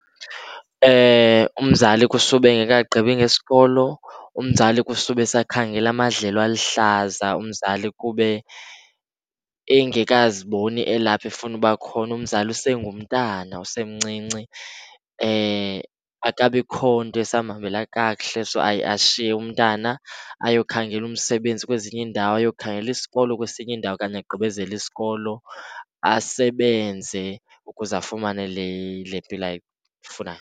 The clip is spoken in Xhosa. Umzali kusube engekagqibi ngesikolo, umzali kusube esakhangela amadlelo aluhlaza, umzali kube engekaziboni elapha efuna uba khona, umzali usengumntana usemncinci. Akukabikho nto esamhambela kakuhle. So, ashiye umntana ayokhangela umsebenzi kwezinye iindawo, ayokhangela isikolo kwesinye indawo okanye agqibezele isikolo, asebenze ukuze afumane le mpilo ayifunayo.